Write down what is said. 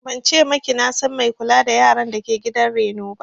Ban ce maki na san mai kula da yaran dake gidan reno ba